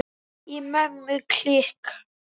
Í Mömmu klikk!